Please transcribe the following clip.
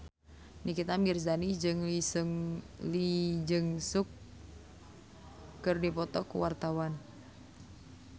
Nikita Mirzani jeung Lee Jeong Suk keur dipoto ku wartawan